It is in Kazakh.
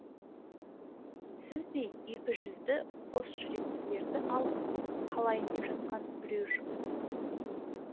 сіздей екіжүзді қос жүректілерді алып қалайын деп жатқан біреу жоқ